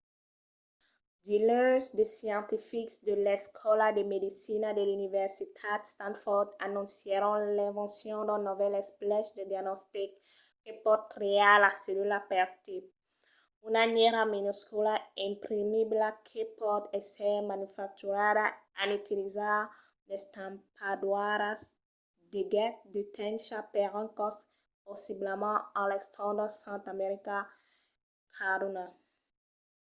diluns de scientifics de l'escòla de medecina de l'universitat stanford anoncièron l'invencion d'un novèl esplech de diagnostic que pòt triar las cellulas per tipe: una nièra minuscula imprimibla que pòt èsser manufacturada en utilizar d'estampadoiras de get de tencha per un còst possiblament a l'entorn d'un cent american caduna